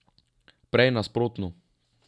Prej nasprotno.